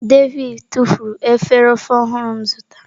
David tufuru efere ofe ọhụrụ m zụtara.